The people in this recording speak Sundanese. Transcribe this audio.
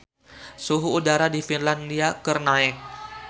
Suhu udara di Finlandia keur naek